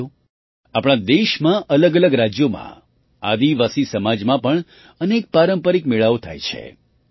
સાથીઓ આપણા દેશમાં અલગઅલગ રાજ્યોમાં આદિવાસી સમાજમાં પણ અનેક પારંપરિક મેળાઓ થાય છે